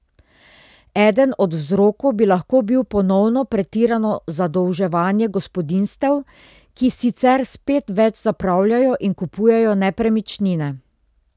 Eden od vzrokov bi lahko bil ponovno pretirano zadolževanje gospodinjstev, ki sicer spet več zapravljajo in kupujejo nepremičnine.